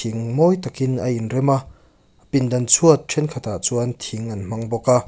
mawi takin a inrem a pindan chhuat thenkhatah chuan thing an hmang bawk a.